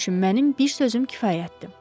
Hamı üçün mənim bir sözüm kifayətdir.